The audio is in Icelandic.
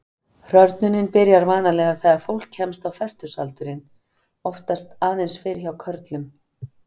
Hrörnunin byrjar vanalega þegar fólk kemst á fertugsaldurinn, oftast aðeins fyrr hjá körlum.